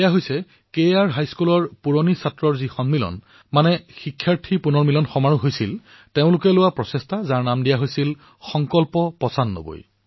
এয়া আছিল তাৰ কে আৰ হাইস্কুলৰ যি প্ৰাক্তন ছাত্ৰ তেওঁলোকৰ সন্মিলনত এই পদক্ষেপৰ প্ৰস্তাৱ উত্থাপন কৰা হৈছিল আৰু ইয়াৰ নাম দিয়া হৈছিল সংকল্প পচানব্বৈ